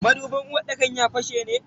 Madubin uwarɗakar ya fashe ne?